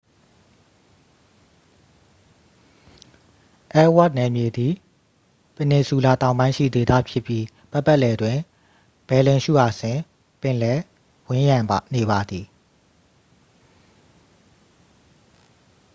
အယ်လ်ဝါ့သ်နယ်မြေသည် ပင်နီဆူလာတောင်ပိုင်းရှိ ဒေသဖြစ်ပြီး ပတ်ပတ်လည်တွင် ဘယ်လင်ရှူအာဆင် ပင်လယ် ဝန်းရံနေပါသည်